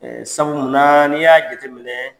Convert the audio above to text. Sabu munna n'i y'a jateminɛ